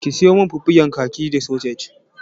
Ki sayo min fiffigen kaji da sosej.